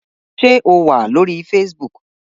Ṣé o wà lórí Facebook?